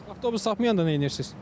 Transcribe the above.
Bəs avtobus tapmayanda neynirsiz?